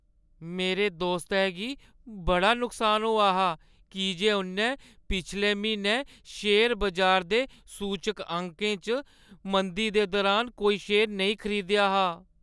मेरे दोस्तै गी बड़ा नुकसान होआ हा की जे उʼन्नै पिछले म्हीनै शेयर बजार दे सूचकांकें च मंदी दे दुरान कोई शेयर नेईं खरीदेआ हा।